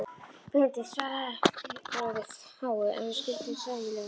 Benedikt svaraði fáu, en við skildum sæmilega.